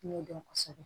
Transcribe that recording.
N y'o dɔn kosɛbɛ